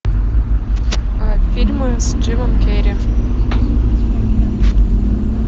фильмы с джимом керри